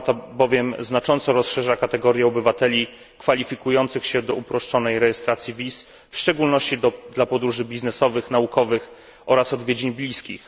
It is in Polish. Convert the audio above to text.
Umowa ta bowiem znacząco rozszerza kategorie obywateli kwalifikujących się do uproszczonej rejestracji wiz, w szczególności w przypadku podróży biznesowych, naukowych oraz odwiedzin bliskich.